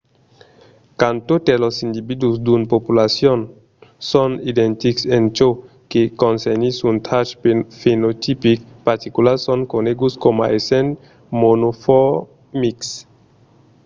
quand totes los individus d’una populacion son identics en çò que concernís un trach fenotipic particular son coneguts coma essent monomorfics